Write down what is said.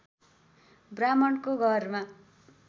ब्राह्मणको घरमा